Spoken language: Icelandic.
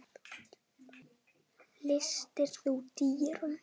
Læstir þú dyrunum?